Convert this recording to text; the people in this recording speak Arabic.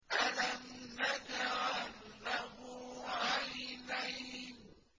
أَلَمْ نَجْعَل لَّهُ عَيْنَيْنِ